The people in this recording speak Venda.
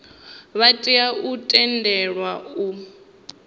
vha tea u tendelwa u